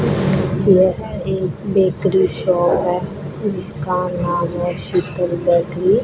यह एक bakery shop है जिसका नाम है शीतल बेकरी --